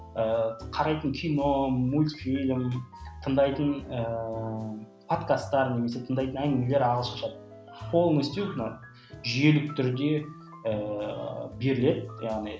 ыыы қарайтын кино мульфильм тыңдайтын ііі подкастар немесе тыңдайтын әңгімелер ағылшынша полностью мынау жүйелі түрде ііі беріледі яғни